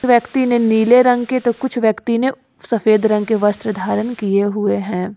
व्यक्ति ने नीले रंग के तो कुछ व्यक्ति ने सफेद रंग के वस्त्र धारन किए हुए हैं।